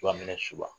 Fura minɛ suguya